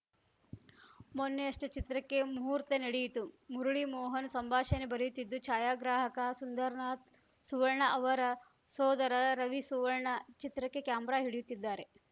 ಮೊನ್ನೆಯಷ್ಟೆಚಿತ್ರಕ್ಕೆ ಮುಹೂರ್ತ ನಡೆಯಿತು ಮುರಳಿ ಮೋಹನ್‌ ಸಂಭಾಷಣೆ ಬರೆಯುತ್ತಿದ್ದು ಛಾಯಾಗ್ರಾಹಕ ಸುಂದರ್‌ನಾಥ್‌ ಸುವರ್ಣ ಅವರ ಸೋದರ ರವಿ ಸುವರ್ಣ ಚಿತ್ರಕ್ಕೆ ಕ್ಯಾಮೆರಾ ಹಿಡಿಯುತ್ತಿದ್ದಾರೆ